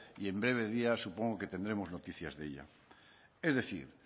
y en breves días supongo que tendremos noticias de ella es decir